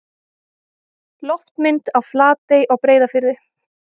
Loftmynd af Flatey á Breiðafirði.